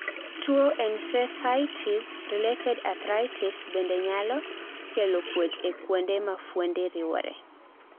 tuo ensesitis related arthritis bende nyalo kelo kuot e kuonde mafuonde riwore